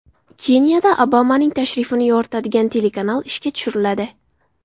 Keniyada Obamaning tashrifini yoritadigan telekanal ishga tushiriladi.